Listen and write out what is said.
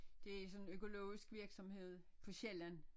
Det sådan økologisk virksomhed på Sjælland